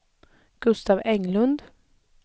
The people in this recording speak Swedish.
Gustaf Englund